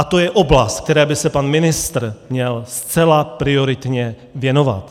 A to je oblast, které by se pan ministr měl zcela prioritně věnovat.